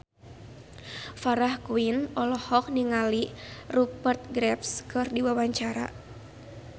Farah Quinn olohok ningali Rupert Graves keur diwawancara